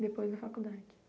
Depois da faculdade?